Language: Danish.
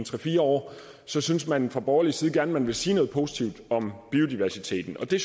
fire år synes man fra borgerlig side at man gerne vil sige noget positivt om biodiversiteten det